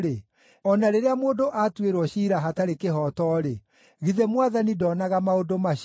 o na rĩrĩa mũndũ atuĩrwo ciira hatarĩ kĩhooto-rĩ, githĩ Mwathani ndonaga maũndũ macio?